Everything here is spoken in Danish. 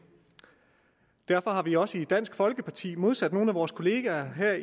derfor har vi også i dansk folkeparti modsat nogle af vores kollegaer her